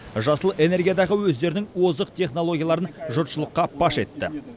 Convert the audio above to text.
жасыл энергиядағы өздерінің озық технологияларын жұртшылыққа паш етті